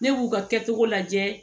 Ne b'u ka kɛcogo lajɛ